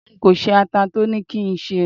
nko se ata to ni ki n se